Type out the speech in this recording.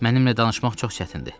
Mənimlə danışmaq çox çətindir.